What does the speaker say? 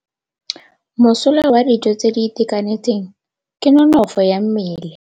Mosola wa dijô tse di itekanetseng ke nonôfô ya mmele.